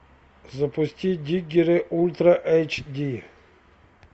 запусти диггеры ультра айч ди